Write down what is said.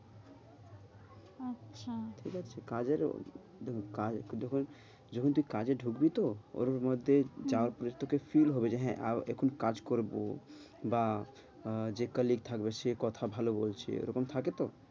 আচ্ছা, ঠিক আছে কাজেরও দেখ, যখন তুই কাজে ঢুকবি তো ওর মধ্যেই চাওয়া তোকে সিল হবে যে হ্যাঁ আর এখন কাজ করব বা যে colleague থাকবে সে কথা ভালো বলছে ওরকম থাকে তো